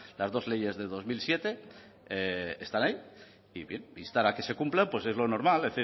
las dos leyes del dos mil siete están ahí y bien instar a que se cumplan pues es lo normal